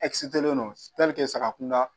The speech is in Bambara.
saga kun da